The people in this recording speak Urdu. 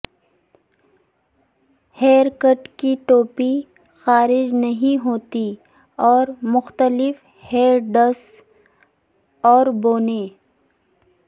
ہیئر کٹ کی ٹوپی خارج نہیں ہوتی اور مختلف ہیئر ڈس اور بونے